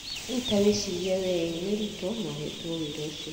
Rĩu ta wĩcirie we e nĩ Ruto na ũheetwo wĩra ũcio.